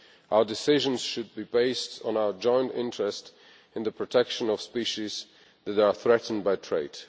Our decisions should be based on our joint interest in the protection of species that are threatened by trade.